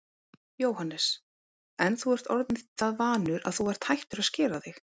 Jóhannes: En þú ert orðinn það vanur að þú ert hættur að skera þig?